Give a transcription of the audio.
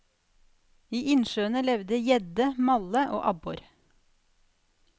I innsjøene levde gjedde, malle og abbor.